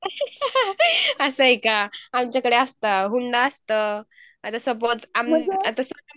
असं आहे का? आमच्याकडे असतं हुंडा असतं आता सपोज आम्ही आता